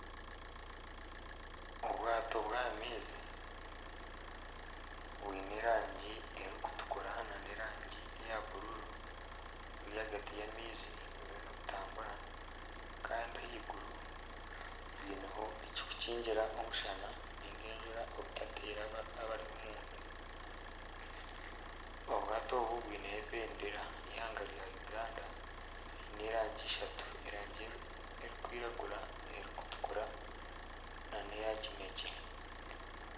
Obwato bw'aha maizi bwine erangi erikutukura nana erangi eya bururu buri ahagati y'amaizi buruho nibutambura kandi ahaiguru heineho ekirikukingira omushana ninga enjura obutateera abari omunda, obwato obu bwineho ebendera y'eihanga rya Uganda n'erangi ishatu erangi erikwiragura, erikutukura nana eya kinekye.